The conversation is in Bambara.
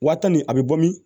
Wa tan ni a bɛ bɔ min